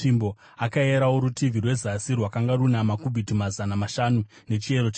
Akayerawo rutivi rwezasi; rwakanga runa makubhiti mazana mashanu nechiyero chetsvimbo.